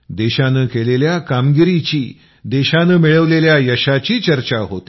देशानं केलेल्या कामगिरीची देशानं मिळवलेल्या यशाची चर्चा होते